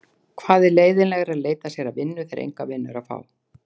Hvað er leiðinlegra en að leita sér að vinnu þegar enga vinnu er að fá?